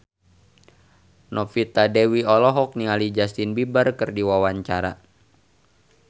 Novita Dewi olohok ningali Justin Beiber keur diwawancara